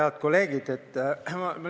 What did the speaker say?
Head kolleegid!